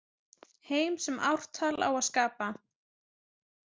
Heim sem ártal á að skapa.